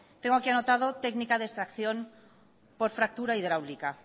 tengo aquí anotado técnica de extracción por fractura hidráulica